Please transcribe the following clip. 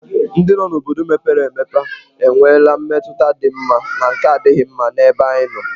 Ndụ n'obodo mepere emepe enwela mmetụta dị mma na nke na-adịghị mma n'ebe anyị nọ.